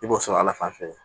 I b'o sɔrɔ ala fan fɛ